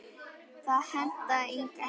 Það hentaði Inga ekki.